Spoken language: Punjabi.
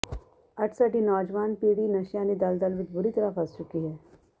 ਅੱਜ ਸਾਡੀ ਨੌਜਵਾਨ ਪੀੜ੍ਹੀ ਨਸ਼ਿਆਂ ਦੀ ਦਲਦਲ ਵਿੱਚ ਬੁਰੀ ਤਰ੍ਹਾਂ ਫਸ ਚੁੱਕੀ ਹੈ